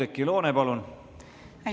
Oudekki Loone, palun!